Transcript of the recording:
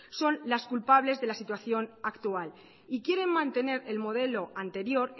son las culpables de la situación actual y quieren mantener el modelo anterior